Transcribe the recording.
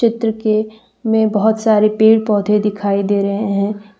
चित्र के में बहुत सारे पेड़ पौधे दिखाई दे रहे हैं।